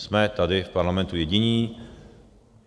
Jsme tady v parlamentu jediní.